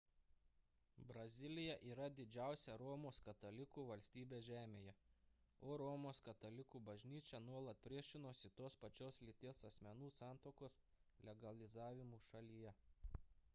brazilija yra didžiausia romos katalikų valstybė žemėje o romos katalikų bažnyčia nuolat priešinosi tos pačios lyties asmenų santuokos legalizavimui šalyje